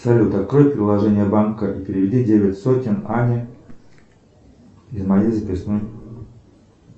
салют открой приложение банка и переведи девять сотен ане из моей записной